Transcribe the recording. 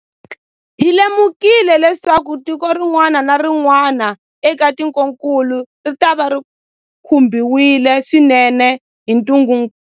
Hi lemukile leswaku tiko rin'wana na rin'wana eka tikokulu ritava ri khumbiwile swinene hi ntungukulu.